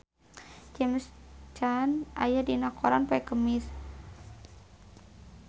James Caan aya dina koran poe Kemis